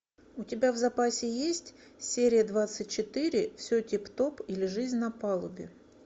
у тебя в запасе есть серия двадцать четыре все тип топ или жизнь на палубе